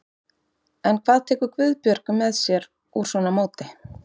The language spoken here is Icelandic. En hvað tekur Guðbjörg með sér úr svona móti?